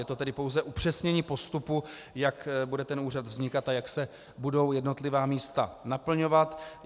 Je to tedy pouze upřesnění postupu, jak bude ten úřad vznikat a jak se budou jednotlivá místa naplňovat.